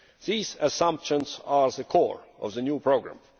These assumptions are at the core of the new programme.